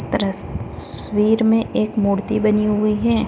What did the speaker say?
रस् तस्वीर मे एक मूर्ति बनी हुई है।